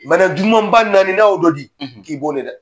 Bana jugumaba naani n'a ye o dɔ di k'i